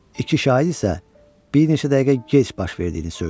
İki şahid isə bir neçə dəqiqə gec baş verdiyini söyləyir.